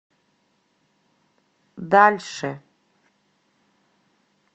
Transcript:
дальше